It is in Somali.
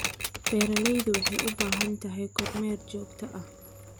Beeralaydu waxay u baahan tahay kormeer joogto ah.